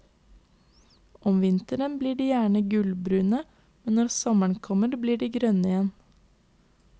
Om vinteren blir de gjerne gulbrune, men når sommeren kommer blir de grønne igjen.